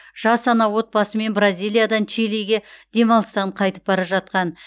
жас ана отбасымен бразилиядан чилиге демалыстан қайтып бара жатқан